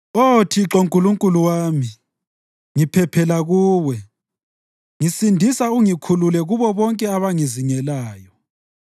Oh Thixo Nkulunkulu wami, ngiphephela kuwe; ngisindisa ungikhulule kubo bonke abangizingelayo,